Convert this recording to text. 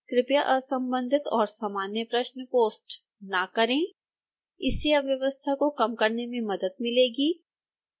कृपया असंबंधित और सामान्य प्रश्न पोस्ट न करें इससे अव्यवस्था को कम करने में मदद मिलेगी